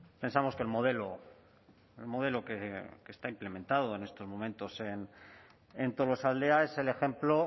pensamos que el modelo el modelo que está implementado en estos momentos en tolosaldea es el ejemplo